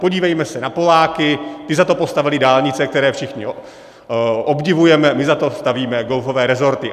Podívejme se na Poláky, ti za to postavili dálnice, které všichni obdivujeme, my za to stavíme golfové resorty.